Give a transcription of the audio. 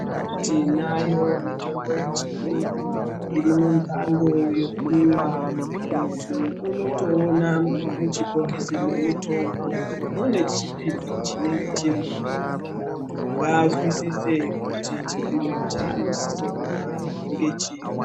Tinayo mitombo yechiyungu irimumbango yekumwa muntu unotoona muchibhokisi mwemutombo mune chipimo chinenge chirimo muntu ngaazwisise kuti chipimo chanosise kumwa ngechiri.